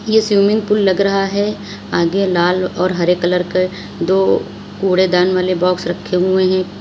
ये swimming pool लग रहा है आगे लाल और हरे कलर के दो कूड़ेदान वाले बॉक्स रखे हुए हैं।